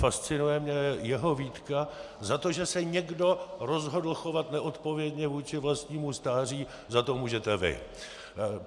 Fascinuje mě jeho výtka: za to, že se někdo rozhodl chovat neodpovědně vůči vlastnímu stáří, za to můžete vy.